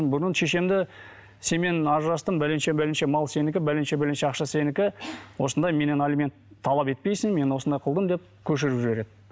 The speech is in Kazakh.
бұрын шешемді сенімен ажырастым бәленше бәленше мал сенікі бәленше бәленше ақша сенікі осындай меннен алимент талап етпейсің мен осындай қылдым деп көшіріп жібереді